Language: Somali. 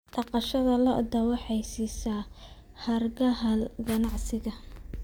Dhaqashada lo'du waxay siisaa hargaha ganacsiga.